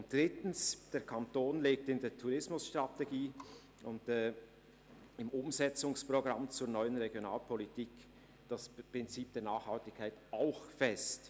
Drittens legt der Kanton in der Tourismusstrategie und im Umsetzungsprogramm zur NRP das Prinzip der Nachhaltigkeit fest.